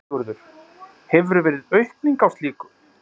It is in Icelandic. Sigurður: Hefur verið aukning á slíku?